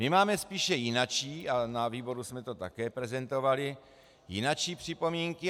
My máme spíše jinačí, a na výboru jsme to také prezentovali, jinačí připomínky.